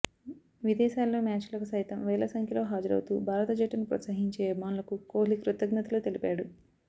విదేశాల్లో మ్యాచ్లకు సైతం వేల సంఖ్యలో హాజరవుతూ భారత జట్టును ప్రోత్సహించే అభిమానులకు కొహ్లీ కృతజ్ఞతలు తెలిపాడు